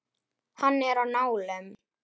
Hann er á nálum.